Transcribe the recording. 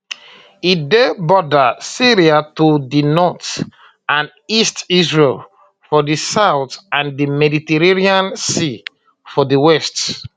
e dey border syria to di north and east israel for di south and di mediterranean sea for di west